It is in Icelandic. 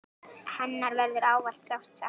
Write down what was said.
Hennar verður ávallt sárt saknað.